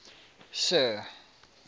sir